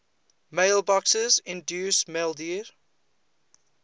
mailboxes include maildir